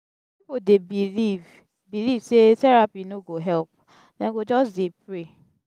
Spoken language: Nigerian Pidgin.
pipo dey believe believe sey therapy no go help; dem go just dey pray.